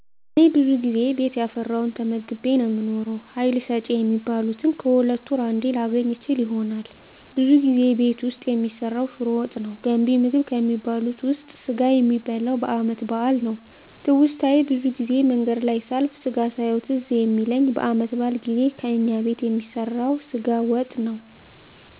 እኔ ብዙ ጊዜ ቤት ያፈራዉን ተመግቤ ነዉ የምኖረዉ ሀይል ሰጭ የሚባሉትን ከሁለት ወር አንዴ ላገኝ እችል ይሆናል ብዙ ጊዜ ቤት ዉስጥ የሚሰራዉ ሽሮ ወጥ ነዉ ገንቢ ምግብ ከሚባሉት ዉስጥ ስጋ የሚበላዉ በአመት በአል ነዉ ትዉስታየ ብዙ ጊዜ መንገድ ላይ ሳልፍ ስጋ ሳየዉ ትዝ የሚለኝ በአመት በአል ጊዜ ከእኛ ቤት የሚሰራዉ ስጋ ወጥ ነዉ